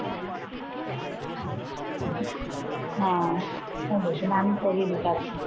হ্যাঁ এই দেখুন আমি পরিয়ে দেখাচ্ছি।